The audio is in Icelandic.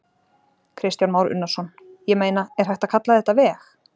Kristján Már Unnarsson: Ég meina, er hægt að kalla þetta veg?